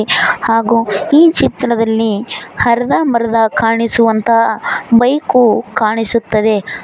ಹಾಗೂ ಈ ಚಿತ್ರದಲ್ಲಿ ಅರ್ಧಬರ್ಧ ಕಾಣಿಸುವಂತಹ ಬೈಕು ಕಾಣಿಸುತ್ತದೆ.